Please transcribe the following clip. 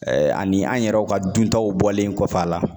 Ɛɛ ani an yɛrɛw ka dun taw bɔlen kɔfɛ a la.